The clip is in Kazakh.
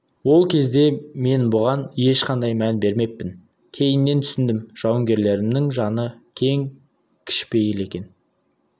ол кезде мен бұған ешқандай мән бермеппін кейіннен түсіндім жауынгерлерімнің жаны кең кішіпейіл екен